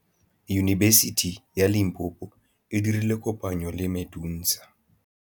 Yunibesiti ya Limpopo e dirile kopanyô le MEDUNSA.